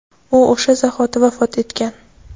u o‘sha zahoti vafot etgan.